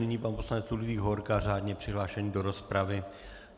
Nyní pan poslanec Ludvík Hovorka, řádně přihlášený do rozpravy.